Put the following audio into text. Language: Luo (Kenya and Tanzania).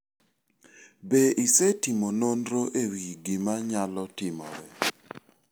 Be isetimo nonro e wi gima nyalo timore?